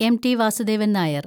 M. T. Vasudevan‍ Nair‍